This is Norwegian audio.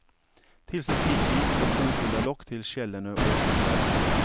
Tilsett hvitvin og kok under lokk til skjellene åpner seg.